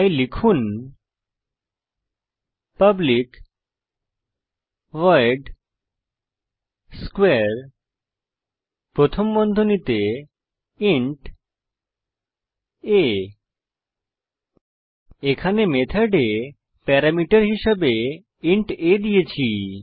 তাই লিখুন public void মেথডের নাম স্কোয়ারে প্রথম বন্ধনীতে ইন্ট a এখানে মেথডে প্যারামিটার হিসেবে ইন্ট a দিয়েছি